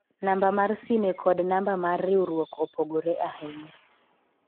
namba mar sime kod namba mar riwruok opogore ahinya